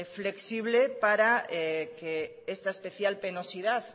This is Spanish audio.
flexible para que esta especial penosidad